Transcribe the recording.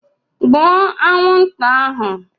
Gbuo anwụnta ahụ